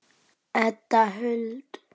Edda Huld.